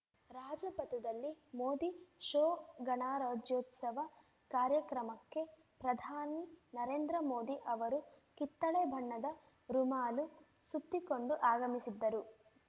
ರಾಜಪಥದಲ್ಲಿ Modi show ಗಣರಾಜ್ಯೋತ್ಸವ ಕಾರ್ಯಕ್ರಮಕ್ಕೆ ಪ್ರಧಾನಿ ನರೇಂದ್ರ ಮೋದಿ ಅವರು ಕಿತ್ತಳೆ ಬಣ್ಣದ ರುಮಾಲು ಸುತ್ತಿಕೊಂಡು ಆಗಮಿಸಿದ್ದರು